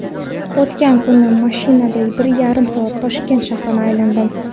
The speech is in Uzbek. O‘tgan kuni mashinada bir yarim soat Toshkent shahrini aylandim.